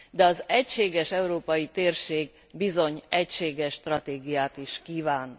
De az egységes európai térség bizony egységes stratégiát is kíván.